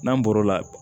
N'an bɔr'o la